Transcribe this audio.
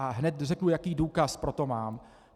A hned řeknu, jaký důkaz pro to mám.